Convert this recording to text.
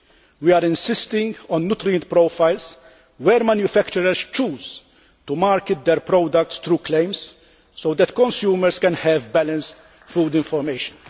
We are insisting on nutrient profiles where manufacturers choose to market their products through claims, so that consumers can have balanced food information.